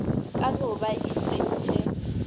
ka no ba e tsentše